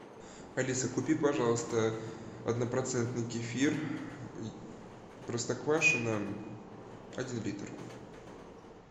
алиса купи пожалуйста однопроцентный кефир простоквашино один литр